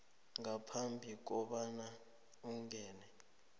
ngaphambi kobana ungene